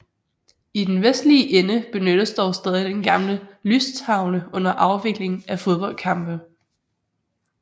I den vestlige ende benyttes dog stadig den gamle lystavle under afvikling af fodboldkampe